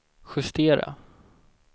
justera